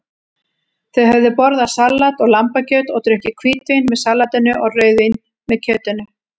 Þau höfðu borðað salat og lambakjöt og drukkið hvítvín með salatinu og rauðvín með kjötinu.